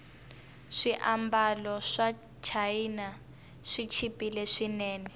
swiambalo swachina swichipile swinene